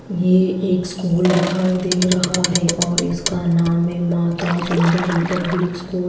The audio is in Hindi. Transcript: ये एक स्कूल दिखाई दे रहा है और इसका नाम है माता सुंदरी पब्लिक स्कूल --